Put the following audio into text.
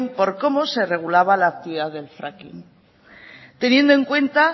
por cómo se regulaba la actividad del fracking teniendo en cuenta